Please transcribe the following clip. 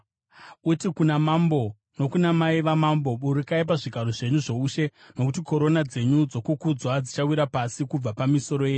Uti kuna mambo nokuna mai vamambo, “Burukai pazvigaro zvenyu zvoushe, nokuti korona dzenyu dzokukudzwa dzichawira pasi kubva pamisoro yenyu.”